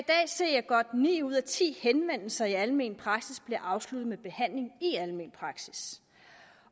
se at godt ni ud af ti henvendelser i almen praksis bliver afsluttet med behandling i almen praksis